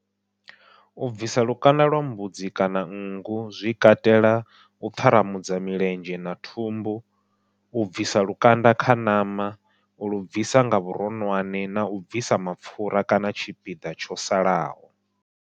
U bvisa lukanda lwa mbudzi kana nngu zwi katela u ṱharamudza milenzhe na thumbu, u bvisiwa lukanda kha ṋama ulu bvisa nga vhuronwane nau bvisa mapfhura kana tshipiḓa tsho salaho.